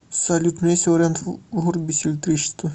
салют у меня есть вариант вырубить электричество